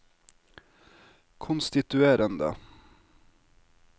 konstituerende